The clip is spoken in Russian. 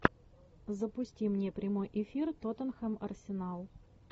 запусти мне прямой эфир тоттенхэм арсенал